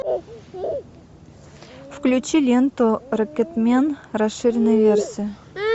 включи ленту рокетмен расширенная версия